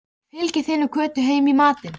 Fylgið þið nú Kötu heim í matinn